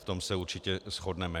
V tom se určitě shodneme.